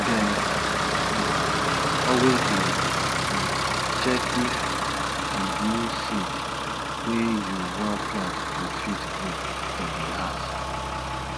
dem um always dey um check if di new seeds wey u wan plant go fit grow for di house